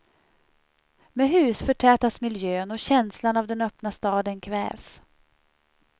Med hus förtätas miljön och känslan av den öppna staden kvävs.